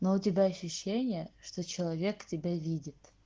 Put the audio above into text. но у тебя ощущение что человек тебя видит